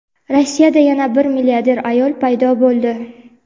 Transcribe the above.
Rossiyada yana bir milliarder ayol paydo bo‘ldi.